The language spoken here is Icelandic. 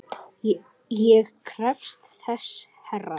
Ég krefst þess herra!